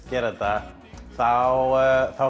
gera þetta þá